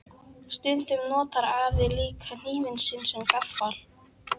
Stundum notar afi líka hnífinn sinn sem gaffal.